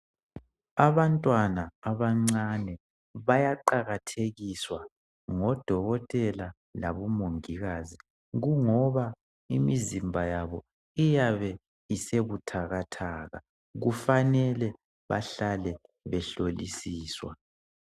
Abantwana abancane bayaqakathekiswa ngodokotela labo mongikazi kungoba imizimba yabo iyabe isebuthakathaka, kufanele bahlale behlolisiswa.